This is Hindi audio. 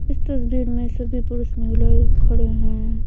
इस तस्वीर में सभी पुरुष महिलाए खड़े हैं।